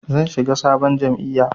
Zan shiga sabon jam'iyya.